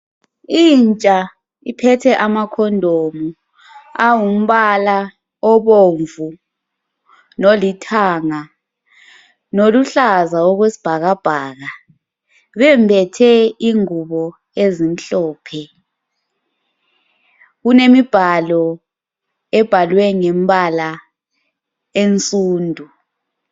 Intsha iphethe amakhondomu awumbala obomvu lolithanga loluhlaza okwesibhakabhaka. Bembethe ingubo ezimhlophe. Kulemibhalo ebhalwe ngembala ensundu